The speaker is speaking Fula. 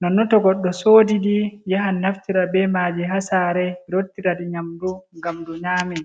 nonno to goɗɗo soodi ɗi ,yaha naftira be maaji haa saare rottira ɗi nyamdu ngam ndu nyaame.